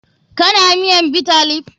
Kana miyan Bitter leaf?